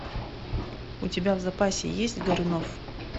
у тебя в запасе есть горюнов